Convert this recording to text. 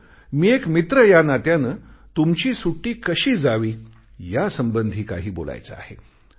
मात्र मी एक मित्र या नात्याने तुमची सुट्टी कशी जावी यासंबंधी काही बोलायचे आहे